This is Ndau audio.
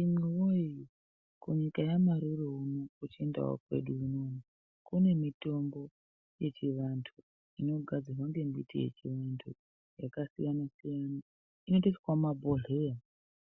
Imi woyee imwi kunyika yamarooro unonu kuchindau kwedu unono kune mitombo yechivantu inogadzirwa ngembiti yechivantu yakasiyana siyana inotoiswawo mumabhodhleya